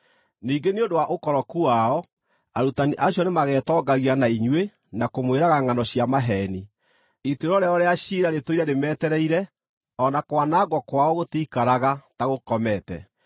Ningĩ nĩ ũndũ wa ũkoroku wao, arutani acio nĩmagetongagia na inyuĩ na kũmwĩraga ngʼano cia maheeni. Ituĩro rĩao rĩa ciira rĩtũire rĩmetereire, o na kwanangwo kwao gũtiikaraga ta gũkomete.